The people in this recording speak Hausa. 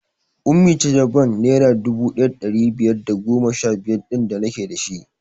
Ummi ce ta bank naira dubu ɗaya da ɗari biyar da goma sha biyar ɗin da nake dashi